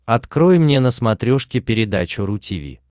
открой мне на смотрешке передачу ру ти ви